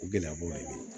O gɛlɛya b'o ye